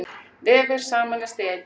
Vefir sameinast í einn